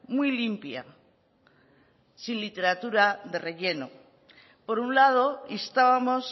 muy limpia sin literatura de relleno por un lado instábamos